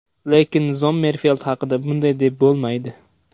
Lekin Zommerfeld haqida bunday deb bo‘lmaydi.